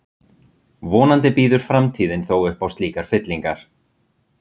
vonandi býður framtíðin þó upp á slíkar fyllingar